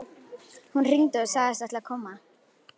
Hún hringdi og sagðist ætla að koma.